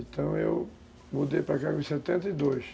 Então eu mudei para cá com setenta e dois.